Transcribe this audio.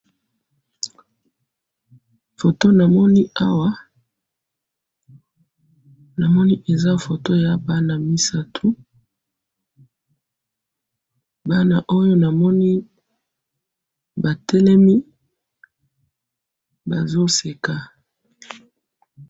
photo namoni awa, namoni eza photo ya bana misatu, bana oyo namoni ba telemi bazo seka